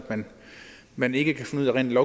man ikke rent